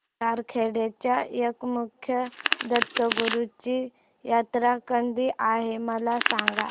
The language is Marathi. सारंगखेड्याच्या एकमुखी दत्तगुरूंची जत्रा कधी आहे मला सांगा